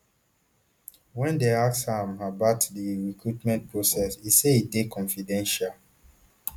wen dem ask am about di recruitment process e say e dey confidential